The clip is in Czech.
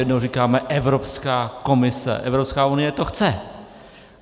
Jednou říkáme Evropská komise, Evropská unie to chce.